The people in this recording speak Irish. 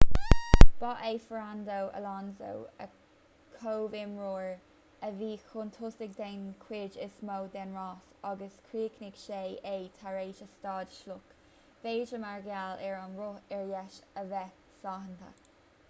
ba é fernando alonso a chomhimreoir a bhí chun tosaigh den chuid is mó den rás ach chríochnaigh sé é tar éis a stad sloic b'fhéidir mar gheall ar an roth ar dheis a bheith sáinnithe